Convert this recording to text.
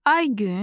Aygün